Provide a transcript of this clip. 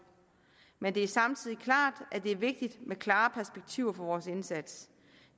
men det er samtidig klart at det er vigtigt med klare perspektiver for vores indsats